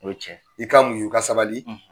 O ye tiɲɛ ye. I ka muɲu i ka sabali